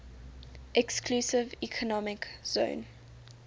exclusive economic zone